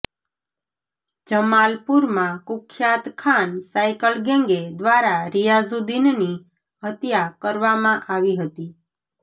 જમાલપુરમાં કુખ્યાત ખાન સાયકલ ગેંગે દ્વારા રિયાઝુદિનની હત્યા કરવામા આવી હતી